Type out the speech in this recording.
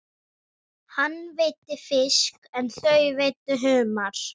Hann veiddi fisk en þau veiddu humar.